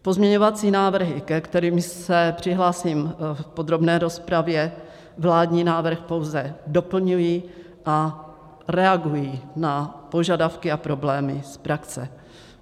Pozměňovací návrhy, ke kterým se přihlásím v podrobné rozpravě, vládní návrh pouze doplňují a reagují na požadavky a problémy z praxe.